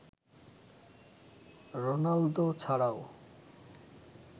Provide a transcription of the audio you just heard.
Ronaldo ছাড়াও